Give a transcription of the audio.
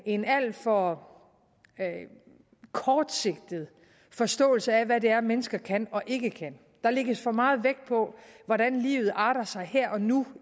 en alt for kortsigtet forståelse af hvad det er mennesker kan og ikke kan der lægges for meget vægt på hvordan livet arter sig her og nu